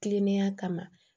Kilennenya kama